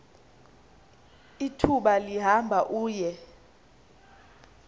ithuba lihamba uye